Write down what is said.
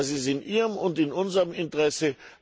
Das ist in ihrem und in unserem Interesse.